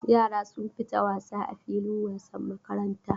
Yara sun fita wasa a filin wasan makaranta.